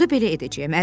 Onda belə edəcəyəm.